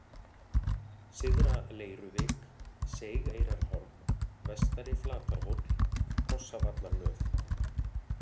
Syðra-Leiruvik, Seigeyrarhorn, Vestari-Flatarhóll, Hrossavallarnöf